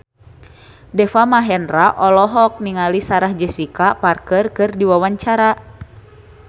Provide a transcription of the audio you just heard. Deva Mahendra olohok ningali Sarah Jessica Parker keur diwawancara